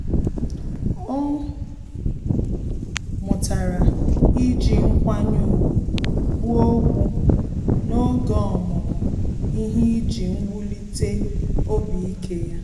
Ọ́ mụtara iji nkwanye ùgwù kwuo okwu n’oge ọmụmụ ihe iji wulite obi ike ya.